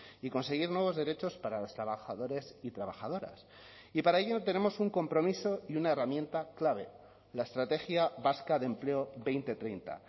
y conseguir nuevos derechos para los trabajadores y trabajadoras y para ello tenemos un compromiso y una herramienta clave la estrategia vasca de empleo dos mil treinta